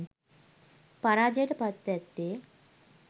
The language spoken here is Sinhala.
පරාජයට පත්ව ඇත්තේ